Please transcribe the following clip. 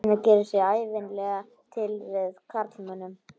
Lena gerir sig ævinlega til fyrir karlmönnum.